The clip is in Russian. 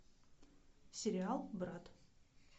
сериал брат